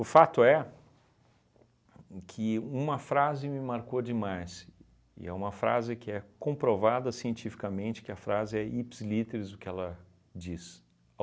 fato é que uma frase me marcou demais, e é uma frase que é comprovada cientificamente, que a frase é ipsis litteris o que ela diz.